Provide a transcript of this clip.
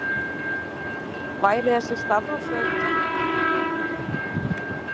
Væri þessi stafrófsröð tilviljun?